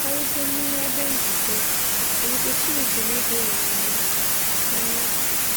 Karịsịa n'ihe ebe njikọ na ebube Chineke na-edoghị anya. anya.